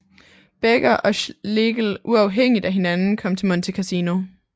Becker og Schlegel uafhængigt af hinanden kom til Monte Cassino